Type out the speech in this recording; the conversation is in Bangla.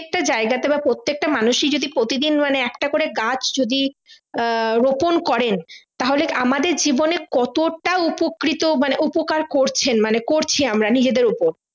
প্রত্যেকটা জায়গাতে বা প্রত্যেকটা মানুষই যদি প্রতি দিন মানে একটা করে গাছ যদি আহ রোপন করেন তাহলে আমাদের জীবনে কতটা উপকৃত মানে উপকার করছেন মানে করছি আমরা নিজেদের উপর